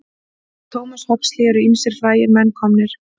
Af Thomas Huxley eru ýmsir frægir menn komnir.